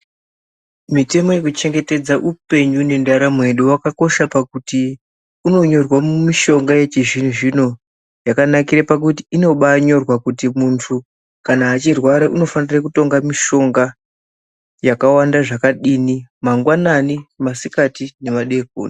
Mitemo yekuchengetedza upenyu nendaramo yedu, wakakosha pakuti unonyorwe mumishonga yechizvino zvino. Yakanakire pakuti inobanyorwa kuti muntu kana achirwara unofanire kutonga mishonga yakawanda zvakadini, mangwanani masikati nemadeko.